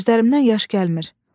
Gözlərimdən yaş gəlmir.